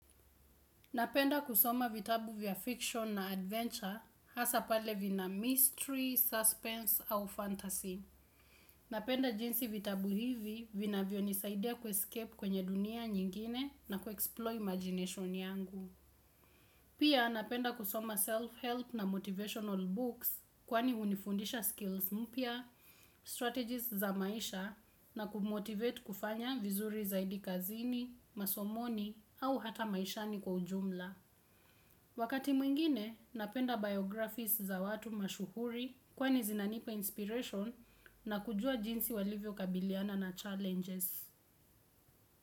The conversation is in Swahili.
Napenda kusoma vitabu vya fiction na adventure hasa pale vina mystery, suspense au fantasy. Napenda jinsi vitabu hivi vinavyonisaidia kuescape kwenye dunia nyingine na kuexploy imagination yangu. Pia napenda kusoma self-help na motivational books kwani hunifundisha skills mpya, strategies za maisha na kumotivate kufanya vizuri zaidi kazini, masomoni au hata maishani kwa ujumla. Wakati mwingine, napenda biographies za watu mashuhuri kwani zinanipa inspiration na kujua jinsi walivyokabiliana na challenges.